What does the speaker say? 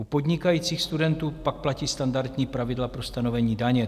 U podnikajících studentů pak platí standardní pravidla pro stanovení daně.